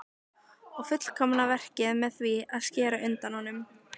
Og fullkomna verkið með því að skera undan honum.